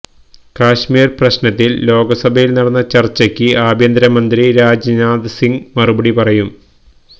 കശ്മീര് പ്രശ്നത്തില് ലോകസഭയില് നടന്ന ചര്ച്ചക്ക് ആഭ്യന്തര മന്ത്രി രാജ്നാഥ് സിങ് മറുപടി പറയും